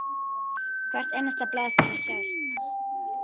Hvert einasta blað fær að sjást.